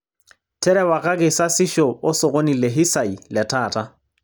terewakaki sasisho osokoni le hisai letaata